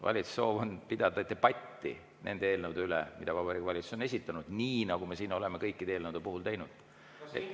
Valitsuse soov on pidada debatti nende eelnõude üle, mida Vabariigi Valitsus on esitanud, nii nagu me oleme kõikide eelnõude puhul teinud.